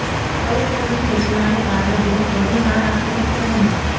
કલેકટરની સૂચનાને કારણે બેંક વધુ નાણાં આપી શકશે નહીં